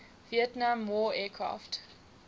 vietnam war aircraft